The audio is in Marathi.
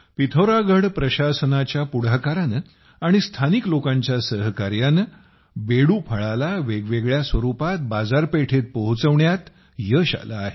पिथौरागढ प्रशासनाच्या पुढाकाराने आणि स्थानिक लोकांच्या सहकार्याने बेडू फळाला वेगवेगळ्या स्वरूपात बाजारपेठेत पोहोचवण्यात यश आले आहे